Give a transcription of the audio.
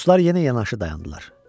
Dostlar yenə yanaşı dayandılar.